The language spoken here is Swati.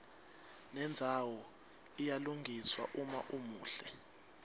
nendzawo iyalungiswa uma umuhle